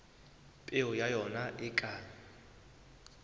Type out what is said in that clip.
peo ya ona e ka